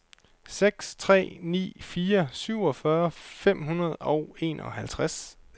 seks tre ni fire syvogfyrre fem hundrede og enoghalvfjerds